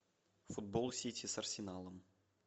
футбол сити с арсеналом